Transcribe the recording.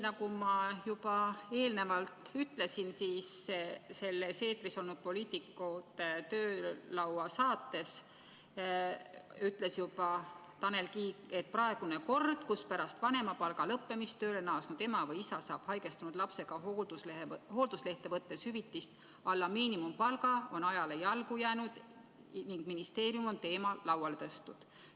Nagu ma juba eelnevalt ütlesin, selles eetris olnud "Poliitikute töölaua" saates ütles Tanel Kiik, et praegune kord, mille kohaselt pärast vanemapalga lõppemist tööle naasnud ema või isa saab haigestunud lapsega hoolduslehte võttes hüvitist, mis on arvestatud miinimumpalga alusel, on ajale jalgu jäänud ning ministeerium on teema lauale tõstnud.